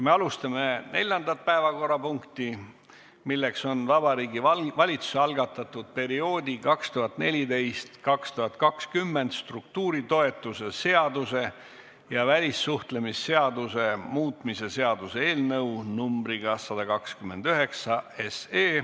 Me alustame neljandat päevakorrapunkti, milleks on Vabariigi Valitsuse algatatud perioodi 2014–2020 struktuuritoetuse seaduse ja välissuhtlemisseaduse muutmise seaduse eelnõu 129.